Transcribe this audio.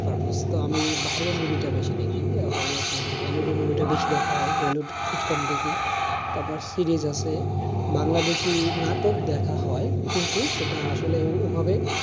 purpose তো আমি বাইরের movie টা বেশি দেখি আর hollywood, hollywood এর movie টা বেশি দেখা হয় bollywood খুব কম দেখি, তারপর series আছে, বাংলাদেশী নাটক দেখা হয় কিন্তু সেটা আসলে ওভাবে